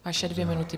Vaše dvě minuty.